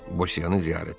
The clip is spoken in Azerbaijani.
Bosyanı ziyarət elədi.